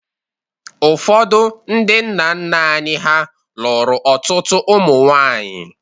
Ụfọdụ ndị nna nna anyị ha lụrụ ọtụtụ ụmụ nwaanyị